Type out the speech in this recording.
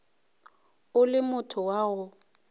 o le motho wa go